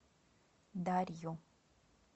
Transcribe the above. дарью